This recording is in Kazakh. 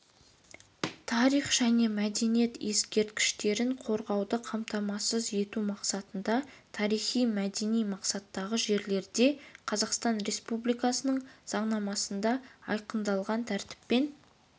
тарих және мәдениет ескерткіштерін қорғауды қамтамасыз ету мақсатында тарихи-мәдени мақсаттағы жерлерде қазақстан республикасының заңнамасында айқындалған тәртіппен